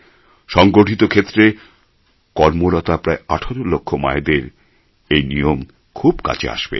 সংগঠিত ক্ষেত্রে কর্মরতা প্রায় ১৮ লক্ষ মায়েদের এই নিয়ম খুব কাজে আসবে